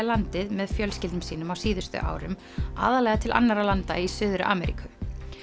landið með fjölskyldum sínum á síðustu árum aðallega til annarra landa í Suður Ameríku